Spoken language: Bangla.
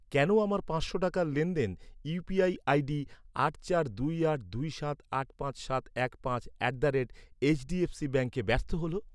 কেন আমার পাঁচশো টাকার লেনদেন ইউ.পি.আই আই.ডি আট চার দুই আট দুই সাত আট পাঁচ সাত এক পাঁচ অ্যাট দ্য রেট এইচডিএফসি ব্যাঙ্কে ব্যর্থ হল?